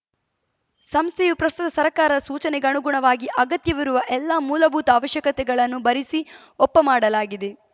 ಸಂಸ್ಥೆಯು ಪ್ರಸ್ತುತ ಸರ್ಕಾರದ ಸೂಚನೆಗಣುಗುಣವಾಗಿ ಅಗತ್ಯವಿರುವ ಎಲ್ಲಾ ಮೂಲಭೂತ ಅವಶ್ಯಕತೆಗಳನ್ನು ಭರಿಸಿ ಒಪ್ಪ ಮಾಡಲಾಗಿದೆ